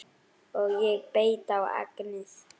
Og ég beit á agnið